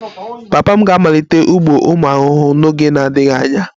Papa m ga-amalite ugbo ụmụ ahụhụ n'oge na-adịghị anya